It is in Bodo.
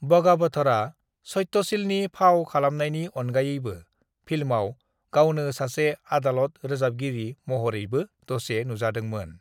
"बागावथरआ सत्यशीलनि फाव खालामनायनि अनगायैबो, फिल्माव गावनो सासे आदालत रोजाबगिरि महरैबो दसे नुजादोंमोन।"